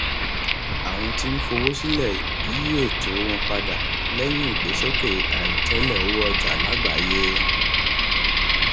àwọn tí ń fowó sílẹ yí ètò wọn padà lẹyìn ìgbésókè àìròtẹlẹ owó ọjà lágbàáyé